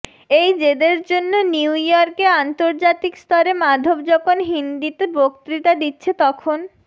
এই জেদের জন্য নিউ ইর্য়কে আন্তর্জাতিক স্তরে মাধব যখন হিন্দিতে বক্তৃতা দিচ্ছে তখন